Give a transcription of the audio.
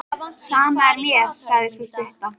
Sama er mér, sagði sú stutta.